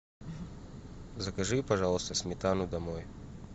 закажи пожалуйста сметану домой